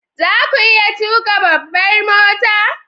Za ku iya tuka babbar mota?